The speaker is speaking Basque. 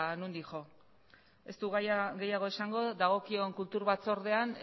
nondik jo ez dut gehiago esango dagokion kultura batzordean